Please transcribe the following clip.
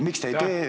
Aitäh!